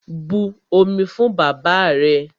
But omi fún bàbáà rẹ!